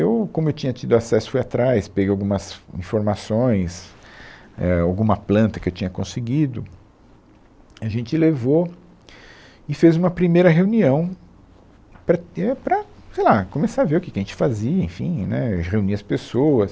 Eu, como eu tinha tido acesso, fui atrás, peguei algumas informações, é, alguma planta que eu tinha conseguido, a gente levou e fez uma primeira reunião para, é, para sei lá, começar a ver o que que a gente fazia, enfim, né, reunir as pessoas.